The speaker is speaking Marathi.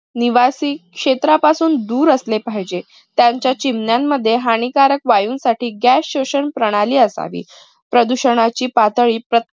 निवासी क्षेत्रापासून दूर असले पाहिजे. त्यांच्या चिमण्यांमध्ये हानिकारक वायूंसाठी gas शोषण प्रणाली असावी. प्रदूषणाची पातळी